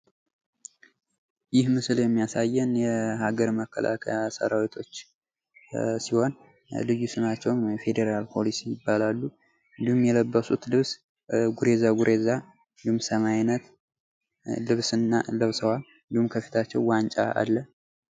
ይህ ምስል የሚያሳየን የሀገር መከላከያ ሰራዊቶች ሲሆን ልዩ ስማቸው የፌደራል ፖሊስ ይባላሉ ። እንዲሁም የልብሱ ልብስ ጉሬዛ ጉሬዛ እንዲሁም ሰማያዊ አይነት ልብስን ለብሰዋል እንዲሁም እንዲሁም ከፊታቸው ዋንጫ አለ ።